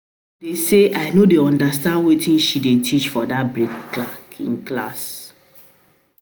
My problem be say I no dey understand wetin she dey teach for dat baking class